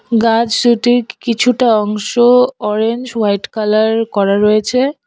গাছ দুটির কি-কিছুটা অংশ অরেঞ্জ হোয়াইট কালার করা রয়েছে।